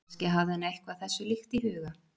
kannski hafði hann eitthvað þessu líkt í huga